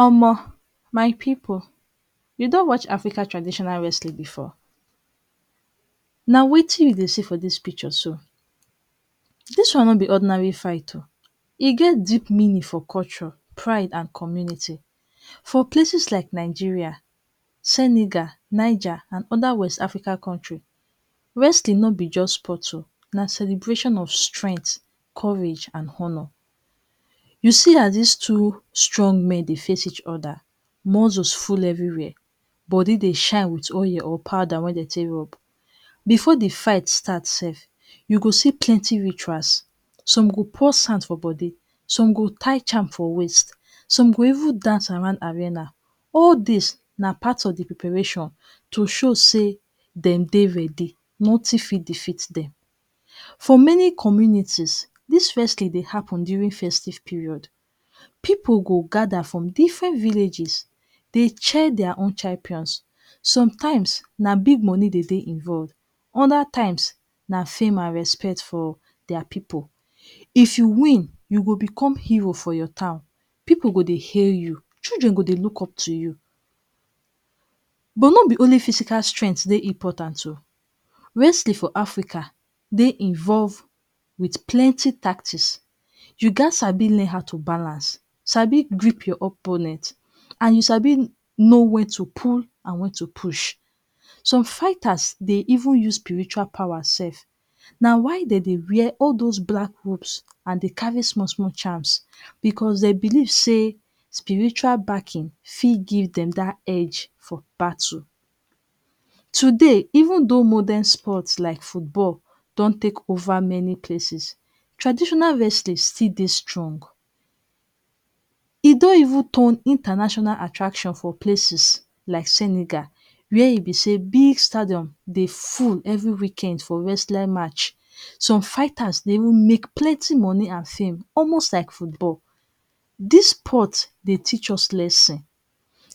?m? my pipu you don watch African traditional wrestling before, na wetin you dey see for dis picture so. Dis one nor be ordinary fight oh, e get deep meaning for culture, pride and community, for places like Nigeria, Senegal, Niger and other west Africa culture. Wrestling nor be just sport oh na celebration of strength, courage and honour. You see as dis two young men dey face each other muscles full everywhere body dey shine with oil or powder wey dem take rub before de fight start sef you go see plenty rituals so go pour sand for body some go tire charm for waist some go even dance around arena. All these na part of preparation to show say dem dey ready nothing fit defeat dem. For many communities dis wrestling dey happen during festive period pipu go gather from different villages dey cheer their own champions sometimes na big money dey involve other times na fame and respect for their pipu. If you win you go become hero for town pipu go dey hail you children go dey look up to you but nor be only physical strength dey important oh. wrestling for Africa dey involve with pleny tactics you gat sabi learn how to balance Sabi grip your opponent and sabi know when to pull and to push some fighters dey even use spiritual power sef na why dem dey wear all those black ropes and carry small small charms because dem believe say spiritual backing fit give dem their egde for battle, today even don modern sport like football don take over many places, traditional wrestling still dey strong e don even turn international attraction for places like Senegal where be say big stadium dey full every weekend for wrestling match some fighters dey make plenty money and fame almost like football. dis sport dey teach us lesson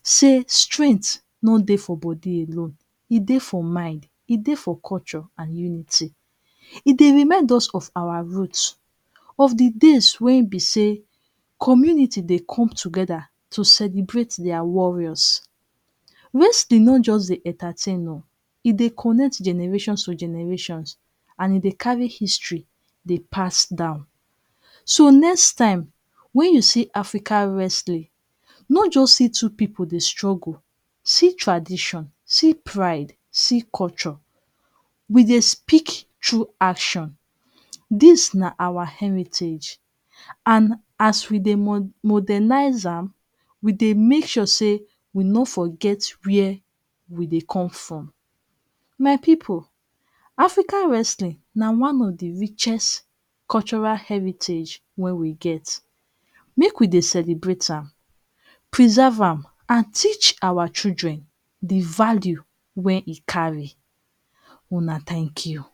say strength nor dey for body alone e dey for mind e dey culture and unity e dey remind us of our root of de days wey be say community dey come together to celebrate their warriors. Wrestling nor just dey entertain oh e dey connect generations to generations and e dey carry history dey pass down, so, next time when you see Africa wrestling nor just see two pipu dey struggle see tradition see pride see culture we dey speak through action dis na our heritage and we dey modernize am make dey make say we nor where we dey come from. my pipu Africa wrestling na one for the richest own cultural heritage wey we get make we dey celebrate am preserve am and teach our children de values wey e carry.una thank you.